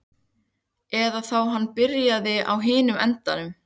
Eða þá hann byrjaði á hinum endanum.